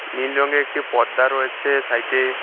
নীল রঙের একটি পর্দা রয়েছে সাইডে।